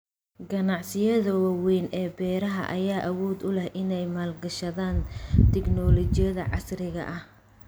Ganacsiyada waaweyn ee beeraha ayaa awood u leh inay maalgashadaan tignoolajiyada casriga ah.